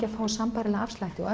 að fá sambærilega afslætti og